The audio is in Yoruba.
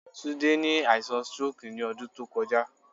Tunde ni aisan stroke ni ọdun to kọja